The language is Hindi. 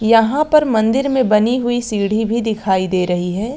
यहाँ पर मंदिर में बनी हुई सीढ़ी भी दिखाई दे रही है।